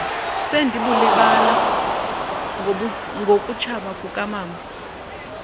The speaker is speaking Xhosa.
sendibulibala ngokutshaba kukamama